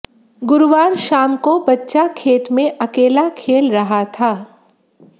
गुरुवार शाम को बच्चा खेत में अकेला खेल रहा था